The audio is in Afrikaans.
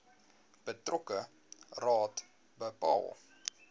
betrokke raad bepaal